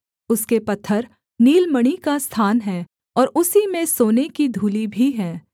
उसके पत्थर नीलमणि का स्थान हैं और उसी में सोने की धूलि भी है